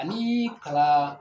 Ani kalan